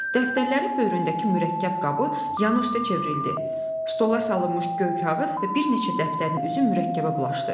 Dəftərlərin böyründəki mürəkkəb qabı yan üstə çevrildi, stola salınmış göy kağız və bir neçə dəftərin üzü mürəkkəbə bulaşdı.